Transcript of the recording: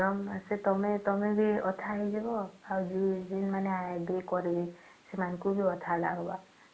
ଗରମ ମାସେ ତମେ ବି ଅଠା ହେଇଯିବ ଆଉ ଯୋଉ ମାନେ କରିବେ ସେମାନଙ୍କୁ ବି ଅଠା ଲାଗିବ